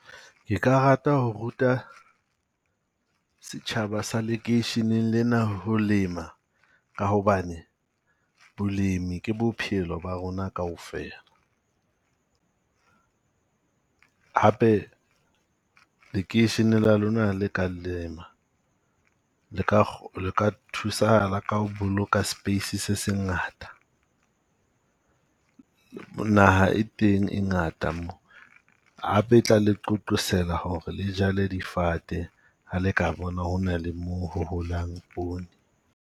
Ke ka rata ho ruta setjhaba sa lekeisheneng lena ho lema ka hobane, bolemi ke bophelo ba rona kaofela. Hape lekeishene la lona ha le ka lema le ka , le ka thusahala ka ho boloka space se se ngata. Naha e teng e ngata mo hape tla le qoqosela ho re le jale difate ha le ka bona hona le mo ho holang pone.